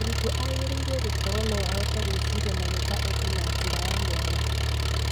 Mũrutwo agĩrĩirwo gũkorwo no ahote gwĩciria na gwĩka ũndũ na njĩra ya mwanya